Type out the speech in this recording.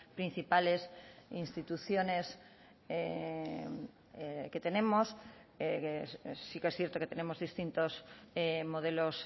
principales instituciones que tenemos sí que es cierto que tenemos distintos modelos